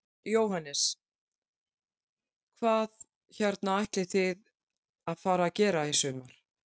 Jóhannes: Hvað hérna ætlið þið að fara að gera í sumar?